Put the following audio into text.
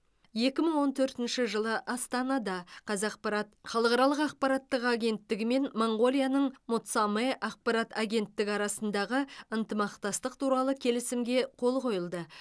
екі мың он төртінші жылы астанада қазақпарат халықаралық ақпараттық агенттігі мен моңғолияның монцамэ ақпарат агенттігі арасындағы ынтымақтастық туралы келісімге қол қойылды